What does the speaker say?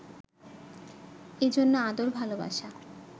এজন্য আদর, ভালোবাসা